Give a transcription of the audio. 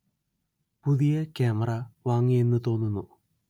പുതിയ കാമറ വാങ്ങി എന്ന് തോന്നുന്നു